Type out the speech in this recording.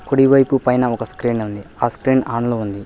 కుడివైపు పైన ఒక స్క్రీన్ ఉంది ఆ స్క్రీన్ ఆన్ లో ఉంది